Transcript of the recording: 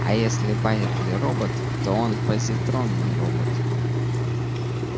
а если байерли робот то он позитронный робот